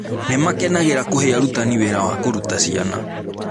Nĩ makenagĩra kũhe arutani wĩra wa kũruta ciana.